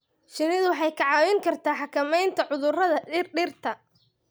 Shinnidu waxay kaa caawin kartaa xakamaynta cudurrada dhirta.